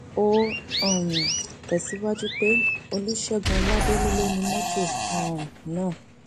ó um tẹsíwájú pé olùṣègùn ọládélé ló ni mọtò um náà